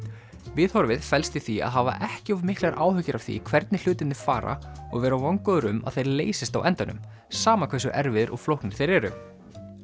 viðhorfið felst í því að hafa ekki of miklar áhyggjur af því hvernig hlutirnir fara og vera vongóður um að þeir leysist á endanum sama hversu erfiðir og flóknir þeir eru